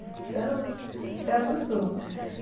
Então, você acostuma.